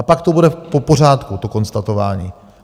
A pak to bude v pořádku, to konstatování.